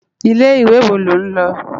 Ilé iwé wó ló n lo?